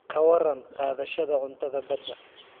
Ka warran qaadashada cuntada badda?